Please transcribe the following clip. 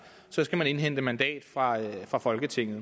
skal man indhente mandat fra fra folketinget